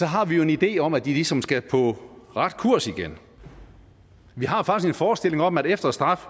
har vi jo en idé om at de ligesom skal på ret kurs igen vi har faktisk en forestilling om at efter straf